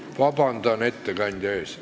Vabandust, ettekandja!